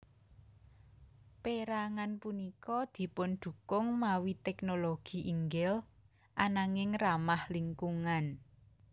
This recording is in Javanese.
Pérangan punika dipundukung mawi teknologi inggil ananging ramah lingkungan